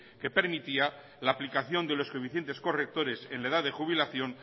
que permitía la aplicación de los coeficientes correctores en la edad de jubilación